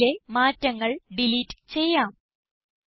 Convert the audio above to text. ഈ സെല്ലിലെ മാറ്റങ്ങൾ ഡിലീറ്റ് ചെയ്യാം